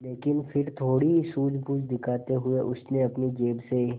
लेकिन फिर थोड़ी सूझबूझ दिखाते हुए उसने अपनी जेब से